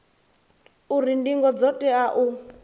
uri ndingo dzo tea u